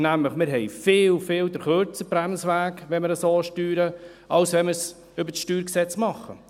Wir haben nämlich, wenn wir es so steuern, einen viel, viel kürzeren Bremsweg, als wenn wir es über das StG machen.